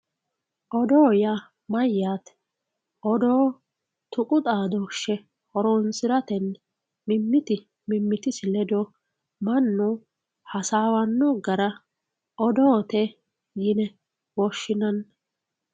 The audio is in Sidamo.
oddo yaa mayyaate odoo yaa tuqu xaadooshshe horonsiratenni mimmiti mimmitisi ledo mannu hasaawanno gara oddote yine woshshinanni.